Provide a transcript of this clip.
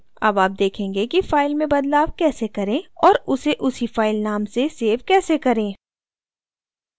अब आप देखेंगे कि फाइल में बदलाव कैसे करें और उसे उसी फाइल name से सेव कैसे करें